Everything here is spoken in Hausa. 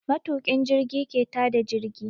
Matuƙin jirgi ke ta da jirgi.